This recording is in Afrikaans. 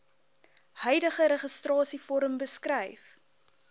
huidige registrasievorm beskryf